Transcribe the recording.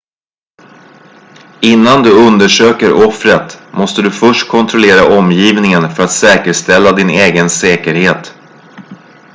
innan du undersöker offret måste du först kontrollera omgivningen för att säkerställa din egen säkerhet